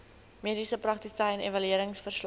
mediese praktisyn evalueringsverslag